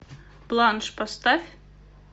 планш поставь